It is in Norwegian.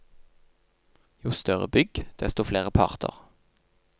Jo større bygg, desto flere parter.